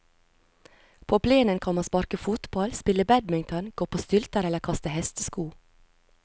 På plenen kan man sparke fotball, spille badminton, gå på stylter eller kaste hestesko.